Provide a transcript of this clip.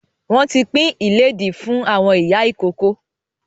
Wọn tí pin ilẹ́di fún àwọn ìyá ìkókó